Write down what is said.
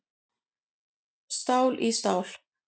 Stál í stál